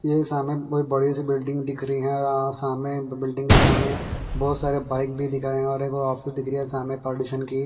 ये सामे बड़ी सी बिल्डिंग दिख रही हैं और सामे बिल्डिंग के सामे बहोत सारे बाइक दिख रहे हैं और एगो ऑफिस दिख रही है सामे पॉल्यूशन की।